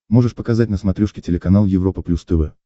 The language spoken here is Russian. можешь показать на смотрешке телеканал европа плюс тв